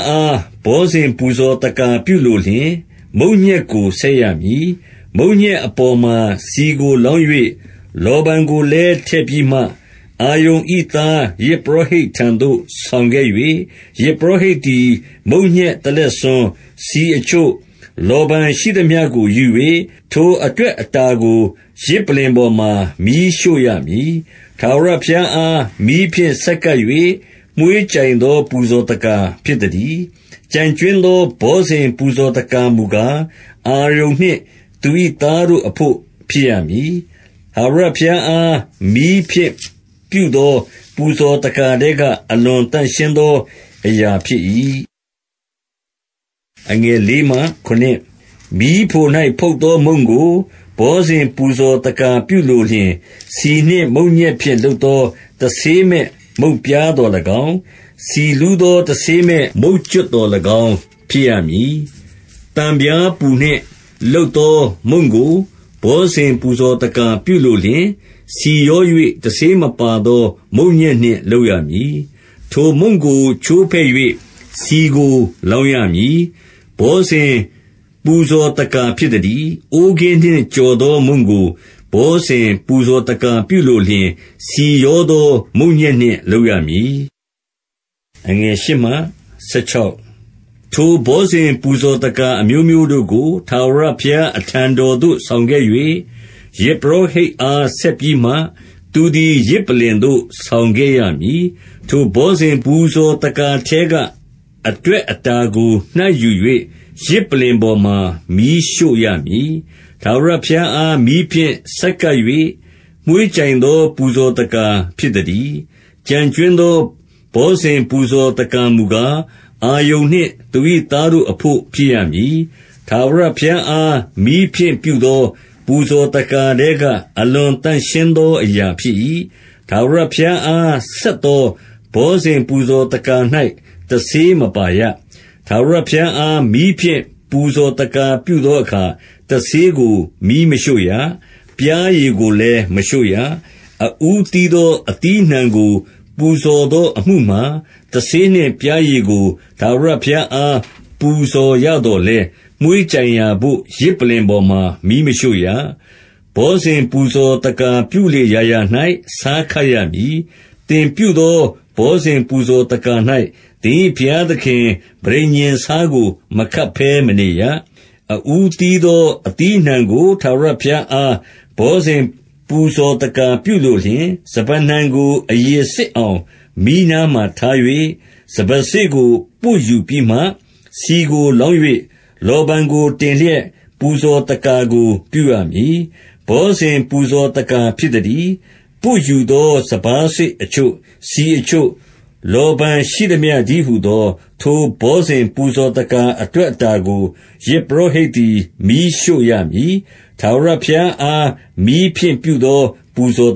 အား ဘောဇဉ် ပူဇော်သက္ကာပြုလိုလျှင်၊ မုန့်ညက်ကို ဆက်ရမည်။ မုန့်ညက်အပေါ်မှာ ဆီကိုလောင်း၍၊ လောဗန်ကိုလည်း ထည့်ပြီးမှ၊ 2 အာရုန်၏သားယဇ်ပုရောဟိတ်ထံသို့ ဆောင်ခဲ့၍၊ ယဇ်ပုရောဟိတ်သည် မုန့်ညက်တလက်ဆွန်း၊ ဆီအချို့၊ လောဗန်ရှိသမျှကို ယူ၍၊ ထိုအတွက် အတာကို ယဇ်ပလ္လင်ပေါ်မှာ မီးရှို့ရမည်။ ထာဝရဘုရားအား မီးဖြင့် ဆက်ကပ်၍၊ မွှေးကြိုင်သော ပူဇော်သက္ကာ ဖြစ်သတည်း။ 3 ကျန်ကြွင်းသော ဘောဇဉ် ပူဇော်သက္ကာမူကား၊ အာရုန်နှင့် သူ၏သားတို့အဘို့ ဖြစ်ရမည်။ ထာဝရ ဘုရားအား မီးဖြင့် ပြုသော ပူဇော်သက္ကာထဲက အလွန်သန့်ရှင်းသော အရာဖြစ်၏။ 4 မီးဖို၌ ဖုတ်သောမုန့်ကို ဘောဇဉ် ပူဇော်သက္ကာပြုလိုလျှင်၊ ဆီနှင့် မုန့်ညက်ဖြင့် လုပ်သော တဆေးမဲ့ မုန့်ပြားသော်၎င်း၊ ဆီလူးသော တဆေးမဲ့ မုန့်ကြွပ်သော်၎င်း ဖြစ်ရမည်။ 5 သံပြားပူနှင့်လုပ်သောမုန့်ကို ဘောဇဉ် ပူဇော်သက္ကာပြုလိုလျှင်၊ ဆီရော၍ တဆေးမပါသော မုန့်ညက် နှင့် လုပ်ရမည်။ 6 ထိုမုန့်ကို ချိုးဖဲ့၍ ဆီကို လောင်းရမည်။ ဘောဇဉ် ပူဇော်သက္ကာ ဖြစ်သတည်း။ 7 အိုးကင်းနှင့် ကြော်သောမုန့်ကို ဘောဇဉ်ပူဇော်သက္ကာပြုလိုလျှင်၊ ဆီရောသော မုန့်ညက်နှင့် လုပ်ရမည်။ 8 ထိုဘောဇဉ် ပူဇော်သက္ကာအမျိုးမျိုးတို့ကို၊ ထာဝရဘုရား အထံတော်သို့ ဆောင်ခဲ့၍၊ ယဇ်ပုရောဟိတ် အား ဆက်ပြီးမှ၊ သူသည် ယဇ်ပလ္လင်သို့ ဆောင်ခဲ့ရမည်။ 9 ထိုဘောဇဉ် ပူဇော်သက္ကာထဲက အတွက်အတာကို နှိုက်ယူ၍ ယဇ်ပလ္လင်ပေါ်မှာ မီးရှို့ရမည်။ ထာဝရဘုရားအား မီးဖြင့် ဆက်ကပ်၍ မွှေးကြိုင်သော ပူဇော်သက္ကာဖြစ်သတည်း။ 10 ကျန်ကြွင်းသော ဘောဇဉ်ပူဇော်သက္ကာမူကား၊ အာရုန်နှင့် သူ၏သားတို့အဘို့ ဖြစ်ရမည်။ ထာဝရ ဘုရားအား မီးဖြင့်ပြုသော ပူဇော်သက္ကာထဲက အလွန်သန့်ရှင်းသော အရာဖြစ်၏။ 11 ထာဝရဘုရားအား ဆက်သော ဘောဇဉ်ပူဇော်သက္ကာ၌ တဆေးမပါရ။ ထာဝရဘုရားအား မီးဖြင့် ပူဇော်သက္ကာပြုသောအခါ၊ တဆေးကို မီးမရှို့ရ။ ပျားရည်ကိုလည်း မရှို့ရ။ 12 အဦးသီးသော အသီးအနှံကို ပူဇော်သော အမှုမှာ၊ တဆေးနှင့် ပျားရည်ကို၊ ထာဝရဘုရားအား ပူဇော်ရသော်လည်း၊ မွှေးကြိုင်ရာဘို့ ယဇ်ပလ္လင်ပေါ်မှာ မီးမရှို့ရ။ 13 ဘောဇဉ် ပူဇော်သက္ကာပြုလေရာရာ၌ ဆားခပ်ရမည်။ သင်ပြုသော ဘောဇဉ် ပူဇော်သက္ကာ၌၊ သင်၏ ဘုရားသခင် ပဋိညာဉ်ဆားကို မခပ်ဘဲမနေရ။ 14 အဦးသီးသော အသီးအနှံကို၊ ထာဝရဘုရားအား ဘောဇဉ်ပူဇော်သက္ကာပြုလိုလျှင်၊ စပါးနှံကို အရည်စစ် အောင် မီးနားမှာ ထား၍၊ စပါးစေ့ကို ပွတ်ယူပြီးမှ၊- 15 ဆီကိုလောင်း၍၊ လောဇန်ကိုတင်လျက်၊ ပူဇော်သက္ကာကို ပြုရမည်။ ဘောဇဉ် ပူဇော်သက္ကာ ဖြစ်သတည်း။ 16 ပွတ်ယူသော စပါးစေ့အချို့၊ ဆီအချို့၊ လောဗန်ရှိသမျှတည်းဟူသော ထိုဘောဇဉ် ပူဇော်သက္ကာအတွက် အတာကို၊ ယဇ်ပုရောဟိတ်သည် မီးရှို့ရမည်။ ထာဝရဘုရားအား မီးဖြင့်ပြုသော ပူဇော်